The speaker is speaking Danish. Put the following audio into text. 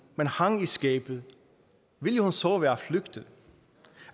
men hang i skabet ville hun så være flygtet